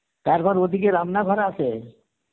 তারপর ওদিকে রান্না ঘর আছে,